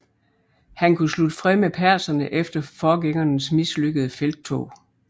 Han kunne slutte fred med perserne efter forgængernes mislykkede felttog